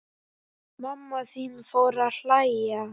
Mamma þín fór að hlæja.